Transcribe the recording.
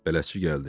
Bələdçi gəldi.